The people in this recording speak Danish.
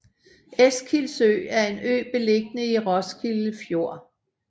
Eskilsø er en ø beliggende i Roskilde Fjord